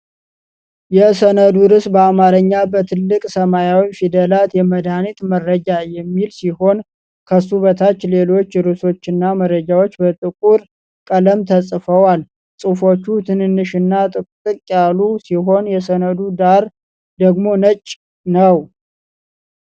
የሰነዱ ርዕስ በአማርኛ በትልቅ ሰማያዊ ፊደላት "የመድሃኒት መረጃ" የሚል ሲሆን፣ ከሱ በታች ሌሎች ርዕሶችና መረጃዎች በጥቁር ቀለም ተጽፈዋል። ጽሑፎቹ ትንንሽና ጥቅጥቅ ያሉ ሲሆኑ፣ የሰነዱ ዳራ ደግሞ ነጭ ነው።